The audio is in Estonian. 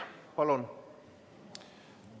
Palun!